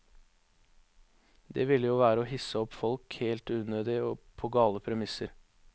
Det ville jo være å hisse opp folk helt unødig og på gale premisser.